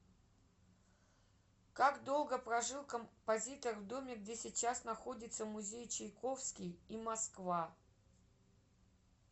как долго прожил композитор в доме где сейчас находится музей чайковский и москва